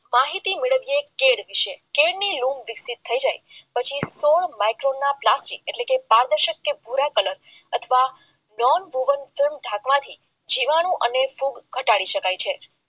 માહિતી મેળવવીએ ત્યારે છે ત્યારે પછી પ્લાસ્ટિક એટલે કે પારદર્શક અથવા ભૂરા કલર અથવા ગેમ ઢાંકવાથી અને ફૂગ ઘટાડી શકાય છે